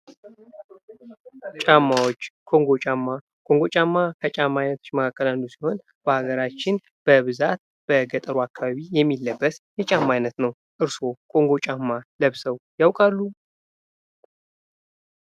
ጫማዎች ኮንጎ ጫማ ኮንጎ ጫማ ከጫማ አይነት አንዱ ሲሆን በሃገራችን በብዛት በገጠሩ አካባቢ የሚለበስ የጫማ አይነት ነው። እርሶ ኮንጎ ጫማ ለብሰው ያውቃሉ?